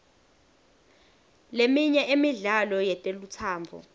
leminye emidlalo yetelutsandvo